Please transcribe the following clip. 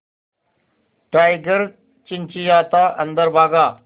tiger चिंचिंयाता अंदर भागा